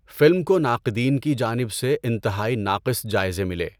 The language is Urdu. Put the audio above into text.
فلم کو ناقدین کی جانب سے انتہائی ناقص جائزے ملے۔